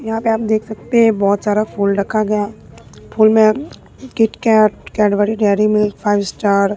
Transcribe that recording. यहां पे आप देख सकते हैं बोहोत सारा फुल रखा गया फूल में KitKat Cadbury Dairy Milk Five Star --